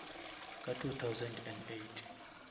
ka two thousand and eight